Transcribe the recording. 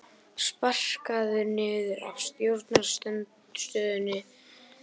Sparkaður niður af stjórnarandstöðunni